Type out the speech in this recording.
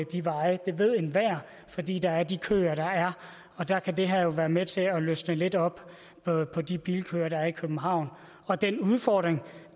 de veje det ved enhver fordi der er de køer der er og der kan det her jo være med til at løsne lidt op på på de bilkøer der er i københavn og den udfordring